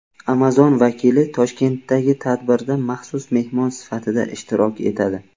Amazon vakili Toshkentdagi tadbirda maxsus mehmon sifatida ishtirok etadi.